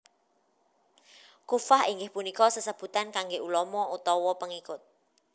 Kuffah inggih punika sesebutan kangge ulama utawa pengikut